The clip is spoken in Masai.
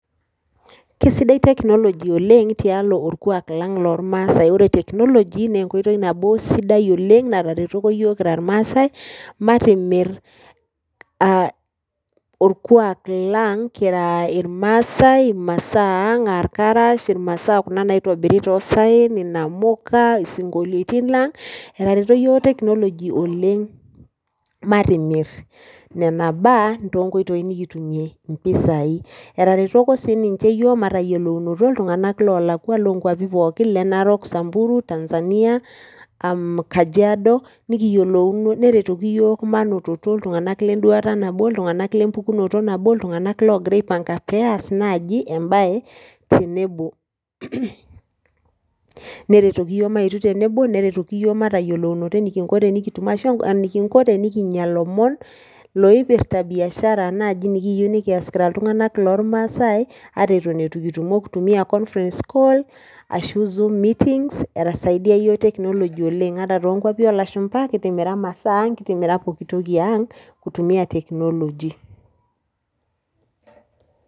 Kisidai technology tialo orkwak lang loormaasae. Ore technology naa enkoitoi nabo sidai oleng nataretoko yiok kira irmaasae, matimir aa orkwak lang kira irmaasae , imasaa ang aa irkarash, imasaa ang kuna naitobiri toosaen , inamuka , isinkoliotin lang , etaretoko yiook technology oleng matimir nena baa toonkoitoi nikutumie impisai. Etaretoko sininche yiook matayiolounoto iltunganak loo nkwapi pooki , narok , samburu , tanzania aam kajiado , nikiyiolouno, neretoki yiook manototo iltunganak le mpukunoto nabo, iltunganak lenduata nabo , iltunganak logira aipanka peas naji embae tenebo , neretoki yiook maetu tenebo, neretoki yiook matayiolounoto enikinko tenikitum ashu enikinko tenikinya ilomon loipirta biashara naji nikiyieu nikias kira iltunganak lormaasae ata itu kitumo nikintumia conference call [c]s] ashu zoom meetings eisaidia yiook technology oleng . Ata too nkwpi olashumba kitimira masaa ang , kitimira pooki toki ang kutumia technology.